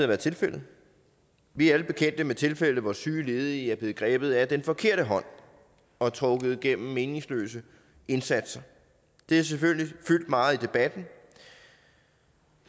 været tilfældet vi er alle bekendte med tilfælde hvor syge ledige er blevet grebet af den forkerte hånd og trukket gennem meningsløse indsatser det har selvfølgelig fyldt meget i debatten